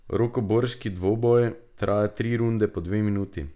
Rokoborski dvoboj traja tri runde po dve minuti.